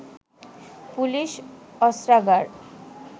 police অস্ত্রাগার